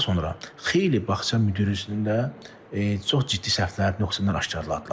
Daha sonra xeyli bağça müdirinin də çox ciddi səhvlər, nöqsanlar aşkarladılar.